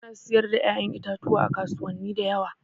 Ana siyar da ƴa'ƴan itatuwa a kasuwani da yawa.